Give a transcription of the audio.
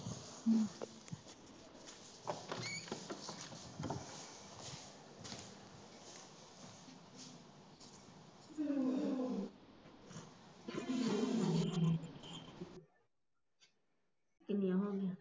ਕਿੰਨੀਆ ਹੋਗੀਆ।